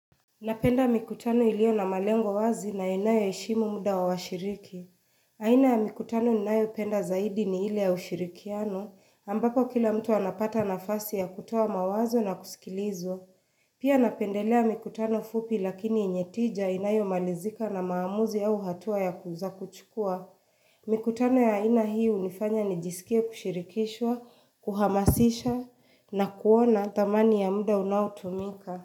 Napenda mikutano iliyo na malengo wazi na inayo heshimu muda wa washiriki. Aina ya mikutano ninayo penda zaidi ni ile ya ushirikiano ambapo kila mtu anapata nafasi ya kutoa mawazo na kusikilizwa. Pia napendelea mikutano fupi lakini yenye tija inayo malizika na maamuzi au hatua ya ku za kuchukua. Mikutano ya aina hii hunifanya nijisikie kushirikishwa, kuhamasisha na kuona thamani ya muda unautumika.